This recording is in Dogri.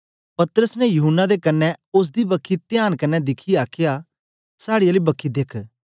पतरस ने यूहन्ना दे कन्ने ओसदी बखी त्यान कन्ने दिखियै आखया साड़ी आली बखी देख